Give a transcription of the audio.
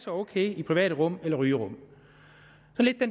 ok i private rum eller rygerum